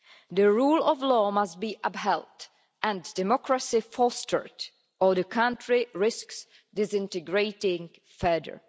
The rule of law must be upheld and democracy fostered or the country risks disintegrating further.